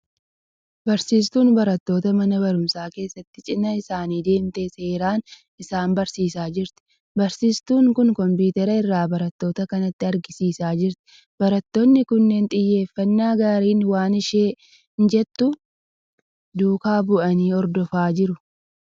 Barsiistuun barattoota mana barumsaa keessatti cina isaanii deemtee seeraan isaan barsiisaa jirti. Barsiistuun kun 'kompiteera' irraa barattoota kanatti agarsiisaa jirti. Barattoonni kunneen xiyyeeffannaa gaariin waan isheen jettu duukaa bu'anii hordofaa jiru.